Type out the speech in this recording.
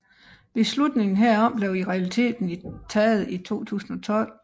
Beslutningen herom blev i realiteten taget i 2012